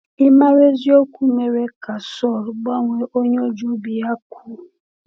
Ịmara eziokwu mere ka Saul gbanwee onye o ji obi ya kwụ.